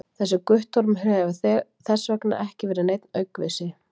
þessi guttormur hefur þess vegna ekki verið neinn aukvisi!